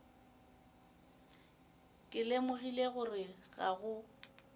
ke lemogile gore ga go